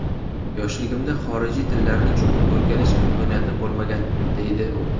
Yoshligimda xorijiy tillarni chuqur o‘rganish imkoniyati bo‘lmagan, deydi u.